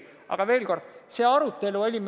Aga veel kord, meil oli see arutelu all.